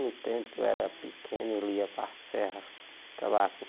No tempo que eu era pequeno, ele ia para a serra, trabalhava